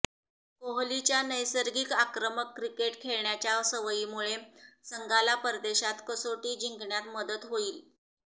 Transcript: कोहलीच्या नैसर्गिक आक्रमक क्रिकेट खेळण्याच्या सवयीमुळे संघाला परदेशात कसोटी जिंकण्यात मदत होईल